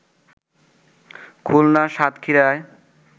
খুলনার সাতক্ষীরায়